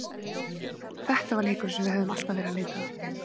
Þetta var leikurinn sem við höfðum alltaf verið að leita að.